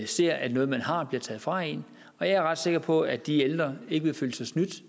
ser at noget man har bliver taget fra en og jeg er ret sikker på at de ældre ikke vil føle sig snydt